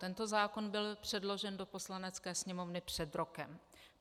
Tento zákon byl předložen do Poslanecké sněmovny před rokem.